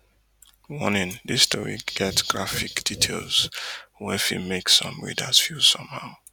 warning dis story get graphic details wey fit make some readers feel somehow